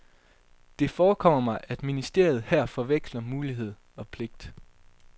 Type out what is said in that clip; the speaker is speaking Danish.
Det forekommer mig, at ministeriet her forveksler mulighed og pligt.